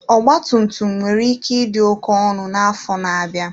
Ọgba tum tum nwere ike ịdị ọnụ nke ukwuu n'afọ na-abịa.